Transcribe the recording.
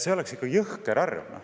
See oleks ikka jõhker arv.